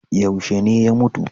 Yaushe ne ya mutu?